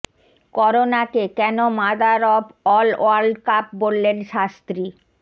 করোনাকে কেন mother of all world cup বললেন শাস্ত্রী